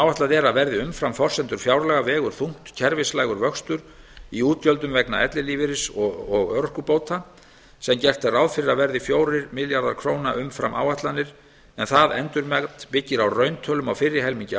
er að verði umfram forsendur fjárlaga vegur þungt kerfislægur vöxtur í útgjöldum vegna ellilífeyris og örorkubóta sem gert er ráð fyrir að verði fjórir milljarðar króna umfram áætlanir en það endurmat byggir á rauntölum á fyrri helmingi